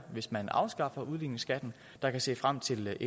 hvis man afskaffer udligningsskatten der kan se frem til